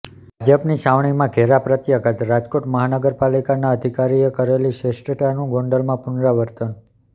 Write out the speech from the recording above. ભાજપની છાવણીમાં ઘેરા પ્રત્યાઘાતઃ રાજકોટ મહાપાલિકાના અધિકારીએ કરેલી ચેષ્ટાનું ગોંડલમાં પૂનરાવર્તન